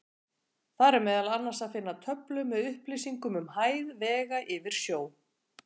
Þar er meðal annars að finna töflu með upplýsingum um hæð vega yfir sjó.